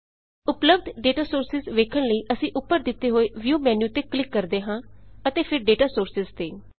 ਉਪਲੱਭਧ data sources ਵੇਖਣ ਲਈ ਅਸੀਂ ਉੱਪਰ ਦਿੱਤੇ ਹੋਏ ਵਿਊ ਮੈਨਿਊ ਤੇ ਕਲਿੱਕ ਕਰਦੇ ਹਾਂ ਅਤੇ ਫੇਰ ਡੇਟਾ ਸੋਰਸਿਜ਼ ਤੇ